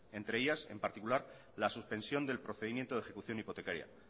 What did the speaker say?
entre ellas en particular la suspensión del procedimiento de ejecución hipotecaria